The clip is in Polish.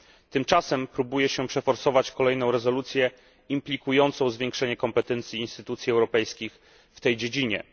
Tymczasem próbuje się przeforsować kolejną rezolucję implikującą zwiększenie kompetencji instytucji europejskich w tej dziedzinie.